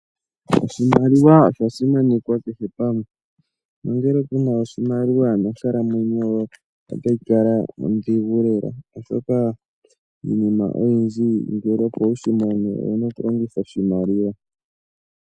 Oshimaliwa osha simanekwa kehe pamwe nongele kuna oshimaliwa nonkalamwenyo yoye otayi kala ondhigu lela, oshoka iinima oyindji ngele, opo wushi mone owu na oku longitha oshimaliwa.